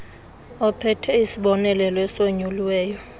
ophethe isibonelelo esonyuliweyo